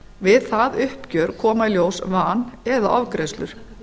við það uppgjör koma í ljós van eða ofgreiðslur